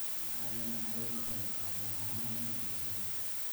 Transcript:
Beerahani waxa uu ka qayb qaataa horumarka bulshada.